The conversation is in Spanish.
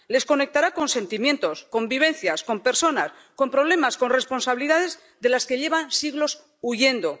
Les conectará con sentimientos, con vivencias, con personas, con problemas, con responsabilidades, de las que llevan siglos huyendo.